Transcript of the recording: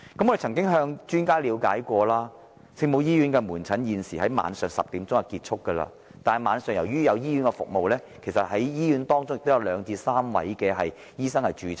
我們曾向專家了解，聖母醫院的門診現時在晚上10時便會結束，但由於醫院在晚上亦有提供服務，其實醫院會有約兩位至3位醫生駐診。